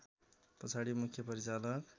पछाडि मुख्य परिचालक